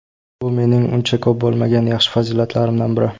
Bu mening uncha ko‘p bo‘lmagan yaxshi fazilatlarimdan biri.